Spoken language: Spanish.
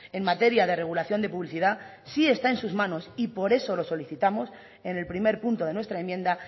en materia de regulación de publicidad sí está en sus manos y por eso lo solicitamos en el primer punto de nuestra enmienda